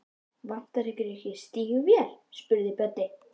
Vantar ykkur ekki stígvél? spurði Böddi.